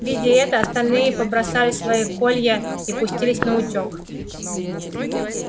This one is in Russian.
видя это остальные побросали свои колья и пустились наутёк